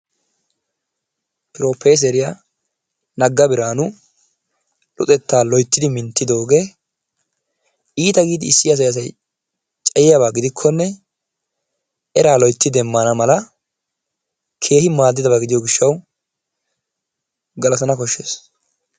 Proofeeseriya Naga Biraanu luxetaa loytti minttidoogee iita giidi issi asay asay cayiyaaba gidikkonne eraa loytti demana mala keehi maadiyo gishawu galatana koshees.